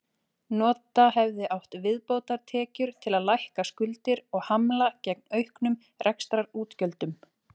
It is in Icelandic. Nota hefði átt viðbótartekjur til að lækka skuldir og hamla gegn auknum rekstrarútgjöldum.